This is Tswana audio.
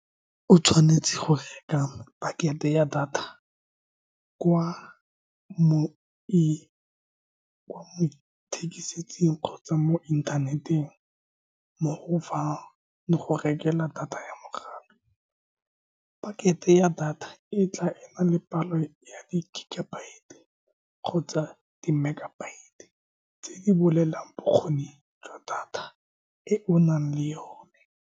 O tshwanetse go reka packet-e ya data kwa mo kwa mo ithekisetsing kgotsa mo inthaneteng, mo go fa le go rekela data ya mogala, packet-e e ya data e tla ena le palo ya di-gygabyte-e kgotsa di-megabyte-e, tse di bolelelang bokgoni jwa data e o nang le yone.